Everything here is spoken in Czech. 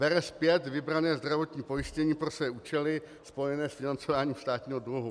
Bere zpět vybrané zdravotní pojištění pro své účely spojené s financováním státního dluhu.